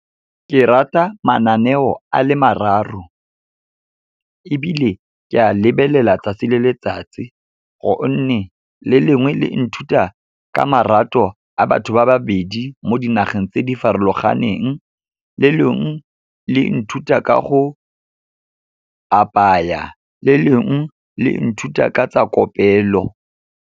Ke rata mananeo a le mararo, ebile ke a lebelela tsatsi le letsatsi gonne le lengwe le nthuta ka marato a batho ba babedi mo dinageng tse di farologaneng. Le lengwe le nthuta ka go apaya, le lengwe le nthuta ka tsa kopelo.